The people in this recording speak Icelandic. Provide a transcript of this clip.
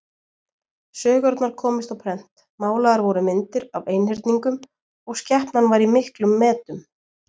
Sögurnar komust á prent, málaðar voru myndir af einhyrningum og skepnan var í miklum metum.